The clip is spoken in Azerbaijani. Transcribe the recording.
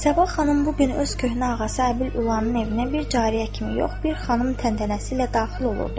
Sabah xanım bu gün öz köhnə ağası Əbil Ulının evinə bir cariyə kimi yox, bir xanım təntənəsi ilə daxil olurdu.